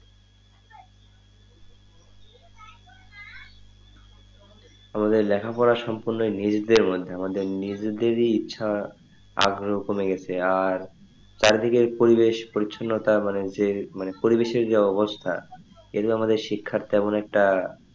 আমাদের লেখাপড়া সম্পূর্ণ নিজেদের মধ্যে আমাদের নিজেদের ইচ্ছা আগ্রহ কমে গেছে আর চারিদিকে পরিবেশ পরিছন্নতা মানে যে মানে পরিবেশের যে অবস্থা এইগুলো শিক্ষার তেমন একটা,